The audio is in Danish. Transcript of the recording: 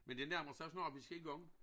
Men det nærmer sig snart vis skal i gang